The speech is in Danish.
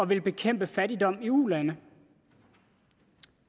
ville bekæmpe fattigdom i ulande